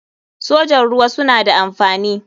sojan ruwa suna da amfani.